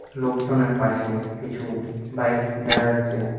লোকজনের পাশে কিছু বাইক দেখা যাচ্ছে।